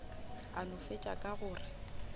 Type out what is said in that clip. a no fetša ka gore